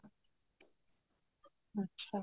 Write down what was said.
ਅੱਛਾ